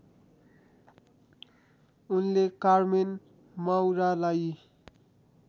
उनले कार्मेन माउरालाई